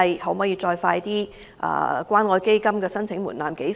何時可以降低關愛基金的申請門檻？